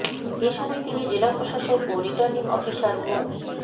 এ সময় তিনি জেলা প্রশাসক ও রিটার্নিং অফিসার মো